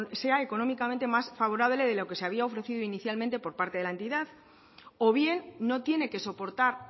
sea económicamente más favorable de lo que se había ofrecido inicialmente por parte de la entidad o bien no tiene que soportar